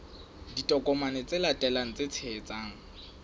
ditokomane tse latelang tse tshehetsang